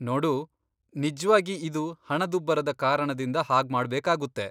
ನೋಡೂ, ನಿಜ್ವಾಗಿ ಇದು ಹಣದುಬ್ಬರದ ಕಾರಣದಿಂದ ಹಾಗ್ಮಾಡ್ಬೇಕಾಗುತ್ತೆ.